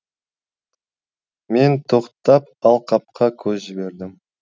мен тоқтап алқапқа көз жібердім